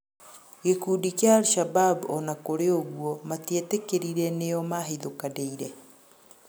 Gĩkũndĩ kĩa al-shabab ona kũrĩ ũgũo matĩetĩkĩrĩre nĩo mahĩthũkanĩire